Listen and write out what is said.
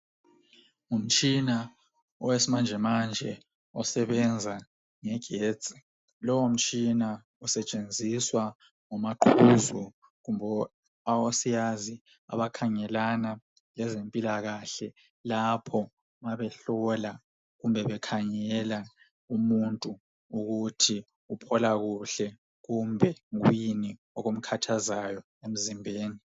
Ngumtshina owesimanje manje osebenza ngogetsi lowo mtshina usetshenziswa ngomaqhuzu kumbe osiyazi abakhangelana lezempilakahle lapho mabehlola kumbe bekhangela umuntu ukuthi uphola kuhle kumbe kuyini okumkhathazayo emzimbeni.